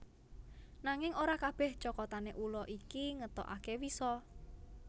Nanging ora kabeh cokotane ula iki ngetokake wisa